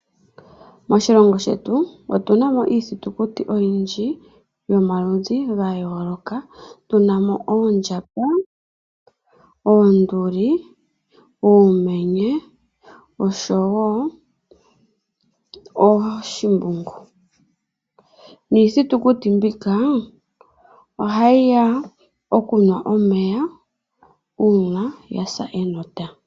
Moshilongo shetu otu na mo iithitukuti oyindji yomaludhi ga yooloka. Tu na mo oondjamba, oonduli, oomenye oshowo ooshimbungu niithitukuti mbika ohayi ya okunwa omeya uuna ya sa enota.